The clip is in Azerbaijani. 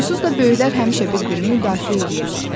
Onsuz da böyüklər həmişə bir-birini müdafiə eləyirlər.